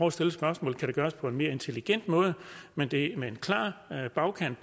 at stille spørgsmålet kan det gøres på en mere intelligent måde men det er med en klar bagkant